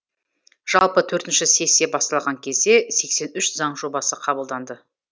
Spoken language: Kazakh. жалпы төртінші сессия басталған кезде сексен үш заң жобасы қабылданды